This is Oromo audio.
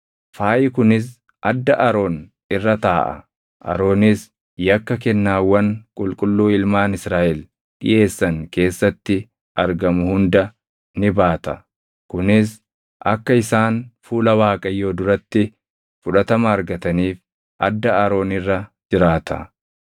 Faayi kunis adda Aroon irra taaʼa; Aroonis yakka kennaawwan qulqulluu ilmaan Israaʼel dhiʼeessan keessatti argamu hunda ni baata. Kunis akka isaan fuula Waaqayyoo duratti fudhatama argataniif adda Aroon irra jiraata.